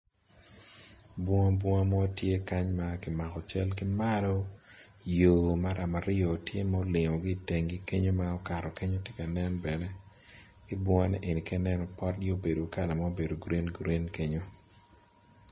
Bunga bunga mo tye kany makimako cal kimalo yo maram aryo tye molingo gi itengi kenyo ma okato kenyo tye ka nen bene ibunga ni eni ka inen opotgi obedo kala ma obedo green green kenyo.